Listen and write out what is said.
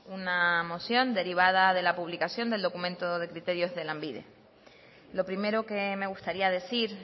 una moción derivada de la publicación del documento de criterios de lanbide lo primero que me gustaría decir